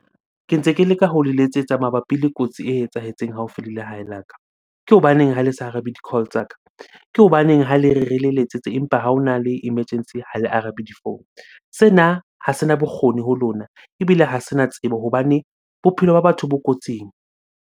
Ke ntse ke leka ho le letsetsa mabapi le kotsi e etsahetseng haufi le lehae la ka. Ke hobaneng ha le sa arabe di-call tsa ka? Ke hobaneng ha le re, re le letsetse empa ha hona le emergency ha le arabe di-phone? Sena ha sena bokgoni ho lona ebile ha sena tsebo hobane bophelo ba batho bo kotsing.